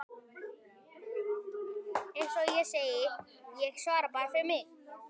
Eins og ég segi: Ég svara bara fyrir mig.